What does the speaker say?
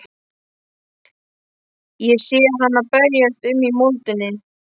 Sé hana berjast um í moldinni.